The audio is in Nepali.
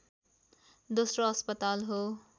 दोस्रो अस्पताल हो